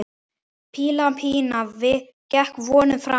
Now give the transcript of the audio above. Píla Pína gekk vonum framar.